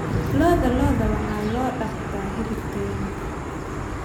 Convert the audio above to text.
Lo'da lo'da waxaa loo dhaqdaa hilib tayo leh.